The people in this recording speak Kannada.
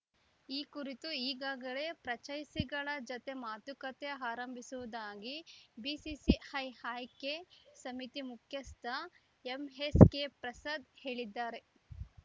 ಈ ಕುರಿತು ಈಗಾಗಲೇ ಫ್ರಾಂಚೈಸಿಗಳ ಜತೆ ಮಾತುಕತೆ ಆರಂಭಿಸಿವುದಾಗಿ ಬಿಸಿಸಿಐ ಆಯ್ಕೆ ಸಮಿತಿ ಮುಖ್ಯಸ್ಥ ಎಂಎಸ್‌ಕೆಪ್ರಸಾದ್‌ ಹೇಳಿದ್ದಾರೆ